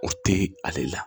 O te ale la